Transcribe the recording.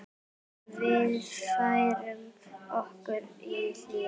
Við færðum okkur í hléi.